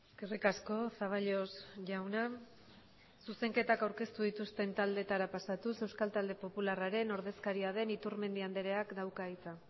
eskerrik asko zaballos jauna zuzenketak aurkeztu dituzten taldeetara pasatuz euskal talde popularraren ordezkaria den iturmendi andreak dauka hitza